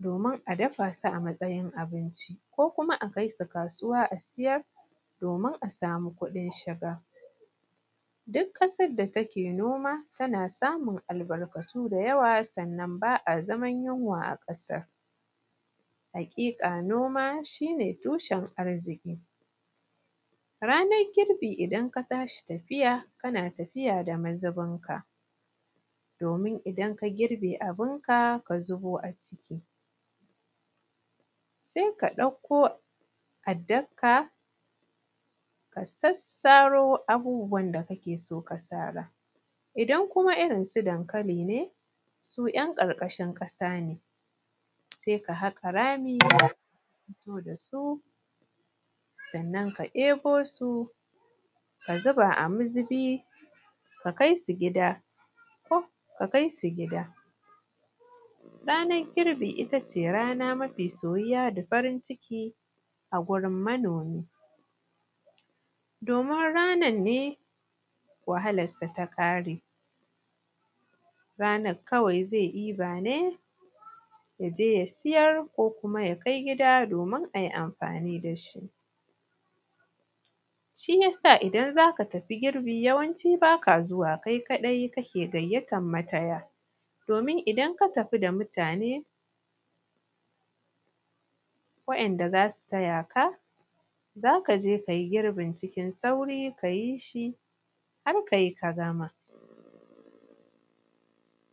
domin a dafa su a matsayin abinci ko kuma a kai su kasuwa a siyar domin a samu kuɗin shiga duk ƙasar da take noma tana samun albarkatu da yawa sannan ba a zaman yunwa a ƙasar haƙiƙa noma shi ne tushen arziki ranar girbi idan ka tashi tafiya kana tafiya da mazubin ka domin idan ka girbe abun ka ka zuɓo a ciki sai ka ɗauko addar ka ka sassaro abubuwan da kake so ka sara idan kuma irin su dankali ne su ‘yan ƙarƙashin ƙasa ne sai ka haƙa rami ka fito da su sannan ka ɗebo su ka zuba a mazubi ka kai su gida ranar girbi itace rana mafi soyuwa da farin ciki a gurin manomi domin ranar ne wahalar sa ta ƙare ranar kawai zai ɗiba ne yaje ya siyar ko kuma ya kai gida domin ayi amfani dashi shi yasa idan zaka tafi girbi yawanci baka zuwa kai kaɗai kai kake gayyatar mataya domin idan ka tafi da mutane waɗanda zasu taya ka zaka je kayi girbin cikin sauri kayi shi har kai ka gama